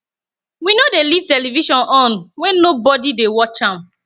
we no dey leave television on wen nobody dey watch am